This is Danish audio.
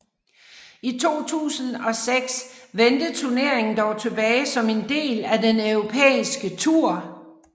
I 2006 vendte turneringen dog tilbage som en del af den Europæiske tur